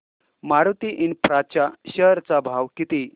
Maruti infra च्या share चा भाव किती